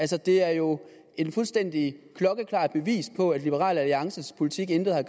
det er jo et fuldstændig klokkeklart bevis på at liberal alliances politik intet har